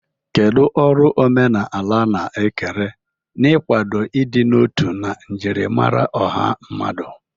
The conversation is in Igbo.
Kedu ọrụ omenala na-ekere n'ịkwado ịdị n'otu na njirimara ọha mmadụ?